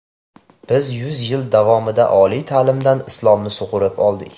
Biz yuz yil davomida oliy ta’limdan Islomni sug‘urib oldik.